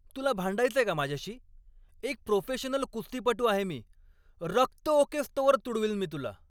तुला भांडायचंय का माझ्याशी? एक प्रोफेशनल कुस्तीपटू आहे मी! रक्त ओकेस्तोवर तुडवील मी तुला.